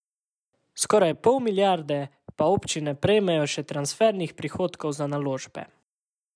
Skoraj pol milijarde pa občine prejmejo še transfernih prihodkov za naložbe.